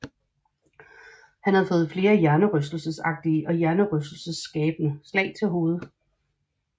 Han havde fået flere hjernerystelsesagtige og hjernerystelsesskabende slag til hovedet